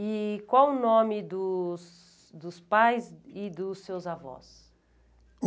E qual o nome dos dos pais e dos seus avós?